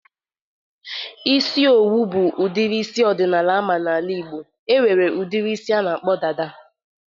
Isi owu bụ udiri isi ọdịnala ama n'ala Ịgbo. E nwere udiri isi a na-akpọ dada.